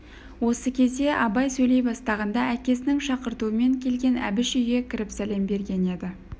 осы кезде абай сөйлей бастағанда әкесінің шақыртуымен келген әбіш үйге кіріп сәлем берген еді